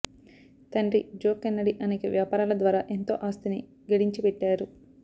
తండ్రి Joe Kennedy అనేక వ్యాపారాల ద్వారా ఎంతో ఆస్తిని గడించిపెట్టారు